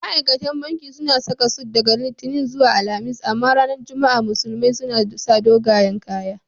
Ma'aikatan banki suna saka sut daga Litinin zuwa Alhamis. Amma ranar Juma'a musulmai suna sa dogayan kaya..